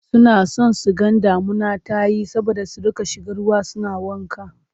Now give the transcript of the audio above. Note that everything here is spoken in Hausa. Suna son su ga damuna ta yi saboda su riƙa shiga ruwa suna wanka.